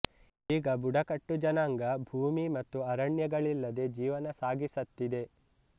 ಈಗ ಬುಡಕಟ್ಟು ಜನಾಂಗ ಭೂಮಿ ಮತ್ತು ಅರಣ್ಯಗಳಿಲ್ಲದೆ ಜೀವನ ಸಾಗಿಸತ್ತಿದೆ